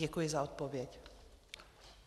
Děkuji za odpověď.